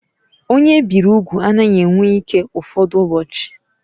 Onye ebiri úgwù anaghị enwe ike ụfọdụ ụbọchị.